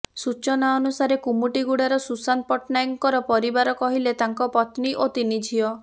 ସୂଚନା ଅନୁସାରେ କୁମୁଟିଗୁଡାର ସୁଶାନ୍ତ ପଟ୍ଟନାୟକଙ୍କର ପରିବାର କହିଲେ ତାଙ୍କ ପତ୍ନୀ ଓ ତିନି ଝିଅ